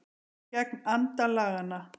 Gegn anda laganna